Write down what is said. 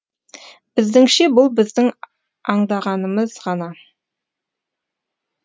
біздіңше бұл біздің аңдағанымыз ғана